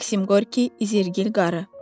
Maksim Qorki, İzerqil qarı.